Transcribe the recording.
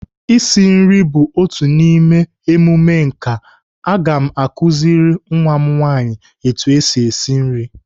Isi nri bụ otu n'ime emume nkà. Aga m akụziri nwa m nwaanyị otu esi esi nri.